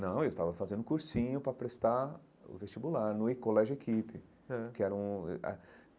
Não, eu estava fazendo cursinho para prestar o vestibular no eh colégio-equipe aham que era um.